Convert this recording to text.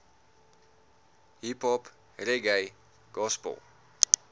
hiphop reggae gospel